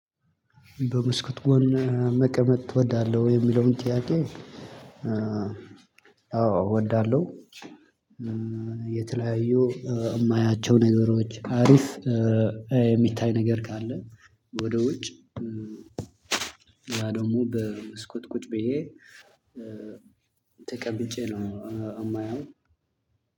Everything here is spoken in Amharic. በመስኮት ጎን መቀመጥ ትወዳለህ ወይ የሚለውን ጥያቄ? አዎ እወዳለሁ። የተለያዩ የማያቸው ነገሮች አሪፍ። የሚታይ ነገር ካለ ወደ ውጭ። ያ ደግሞ በመስኮት ቁጭ ብዬ ተቀምጬ ነው የማየው።